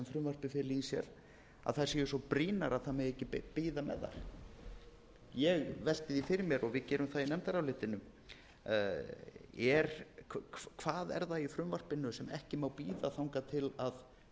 frumvarpið felur í sér séu svo brýnar að ekki megi bíða með þær ég velti því fyrir mér og við gerum það í nefndarálitinu hvað er það í frumvarpinu sem ekki má bíða þangað til